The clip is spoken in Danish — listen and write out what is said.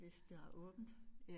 Hvis der er åbent